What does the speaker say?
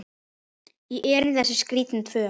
í erindi þessi skrítin tvö.